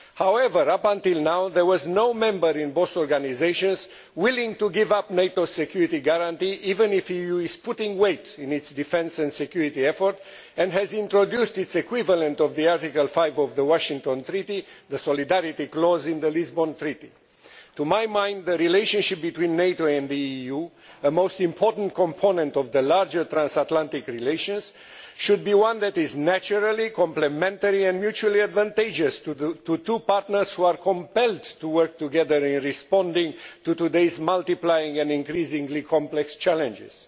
However, until now, there was no member in both organisations willing to give up the NATO security guarantee, even if the EU is putting weight behind its defence and security effort and has introduced its equivalent of Article 5 of the Washington Treaty the solidarity clause in the Lisbon Treaty. To my mind, the relationship between NATO and the EU the most important component of the larger transatlantic relationship should be one that is naturally complementary and mutually advantageous to two partners who are compelled to work together in responding to today's multiplying and increasingly complex challenges.